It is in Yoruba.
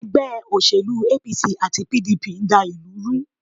Ègbé òṣèlú APC àti PDP n dá ìlú ru